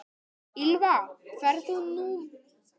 Ýlfa, ferð þú með okkur á miðvikudaginn?